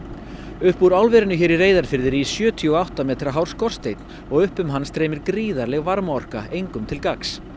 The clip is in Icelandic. upp úr álverinu hér í Reyðarfirði rís sjötíu og átta metra hár og upp um hann streymir gríðarleg varmaorka engum til gagns